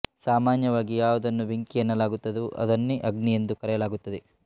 ಸಾಮಾನ್ಯವಾಗಿ ಯಾವುದನ್ನು ಬೆಂಕಿ ಎನ್ನಲಾಗುತ್ತದೊ ಅದನ್ನೇ ಅಗ್ನಿ ಎಂದೂ ಕರೆಯಲಾಗುತ್ತದೆ